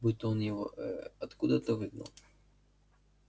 будто он его ээ откуда-то выгнал